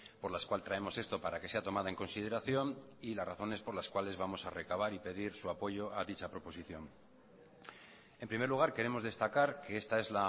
por las cual traemos esto para que sea tomada en consideración y las razones por las cuales vamos a recabar y pedir su apoyo a dicha proposición en primer lugar queremos destacar que esta es